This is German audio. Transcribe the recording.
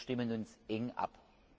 Wir stimmen uns eng ab.